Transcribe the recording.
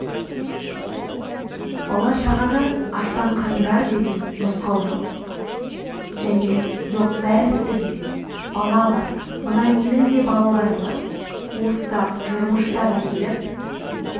бала-шағаны аштан қырыңдар деген нұсқау және жоқ бәрімізде де бала бар мына менің де балаларым бар уыстап жырмыштап әкеліп